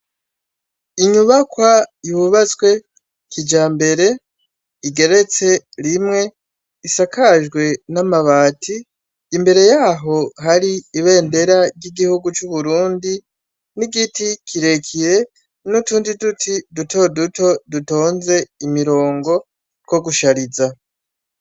Inyubakwa yubazwe kija mbere igeretse rimwe isakajwe n'amabati imbere yaho hari ibendera ry'igihugu c'uburundi n'igiti kirekiye n'utundi duti duto duto dutonze imirongo kogushariza.